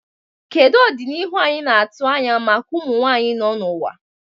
Kedu ọdịnihu anyị na-atụ anya maka ụmụ nwanyị nọ n'ụwa?